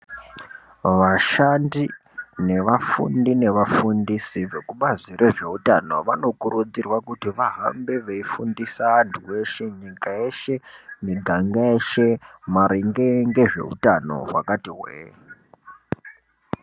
Vashandi, nevafundi nevafundisi vekubazi rezveutano vanokurudzirwa kuti vahambe veifundisa antu veshe, nyika yeshe miganga yeshe maringe ngezveutano hwakati hwee.